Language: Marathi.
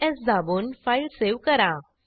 CtrlS दाबून फाईल सेव्ह करा